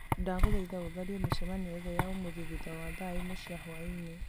ndagũthaitha ũtharie mĩcemanio yothe ya ũmũthĩ thutha wa thaa ĩmwe cia hwaĩinĩ